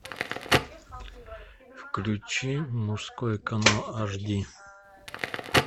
включи мужской канал аш ди